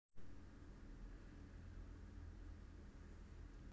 Reykjanes Suðurland Vestmannaeyjar Vesturland